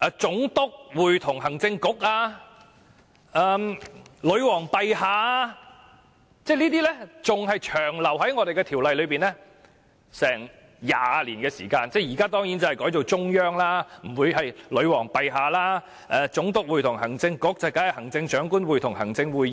如"總督會同行政局"、"女皇陛下"，仍然長留在條例內20年，現在當然不會用"女皇陛下"，已改為"中央"；"總督會同行政局"，當然已改為"行政長官會同行政會議"。